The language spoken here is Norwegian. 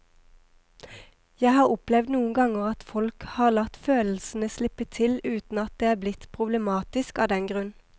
Jeg har opplevd noen ganger at folk har latt følelsene slippe til uten at det er blitt problematisk av den grunn.